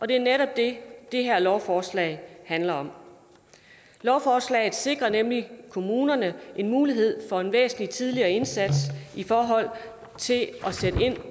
det er netop det det her lovforslag handler om lovforslaget sikrer nemlig kommunerne en mulighed for en væsentlig tidligere indsats i forhold til at sætte ind